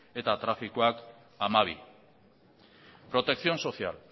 eta trafikoak hamabi protección social